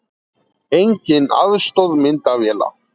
Engin aðstoð myndavéla